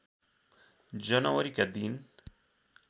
जनवरीका दिन